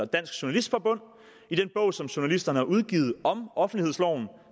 dansk journalistforbund i den bog som journalisterne har udgivet om offentlighedsloven